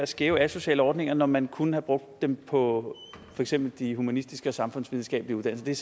skæve asociale ordninger når man kunne have brugt dem på for eksempel de humanistiske og samfundsvidenskabelige uddannelser det